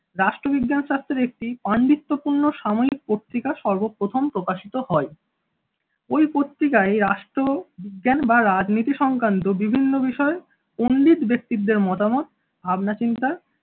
রাষ্ট্রবিজ্ঞান শাস্ত্রে একটি পাণ্ডিত্যপূর্ণ সাময়িক পত্রিকা সর্বপ্রথম প্রকাশিত হয়। ওই পত্রিকায় রাষ্ট্র বিজ্ঞান বা রাজনীতি সংক্রান্ত বিভিন্ন বিষয় উল্লেখ ব্যক্তিদের মতামত ভাবনা চিন্তা